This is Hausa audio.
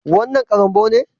Wannan karambou ne?